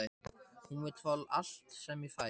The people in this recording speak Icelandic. Hún vill fá allt sem ég fæ.